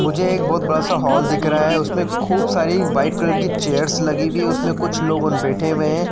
मुझे एक बहोत बड़ा सा हॉल दिख रहा है उसमे खूब सारी वाइट कलर की चेयर्स लगी हुवी है। उसमे कुछ लोगून बैठे हुए हैं।